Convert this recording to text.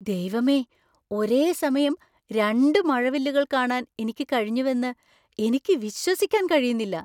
ദൈവമേ, ഒരേസമയം രണ്ട് മഴവില്ലുകൾ കാണാൻ എനിക്ക് കഴിഞ്ഞുവെന്ന് എനിക്ക് വിശ്വസിക്കാൻ കഴിയുന്നില്ല!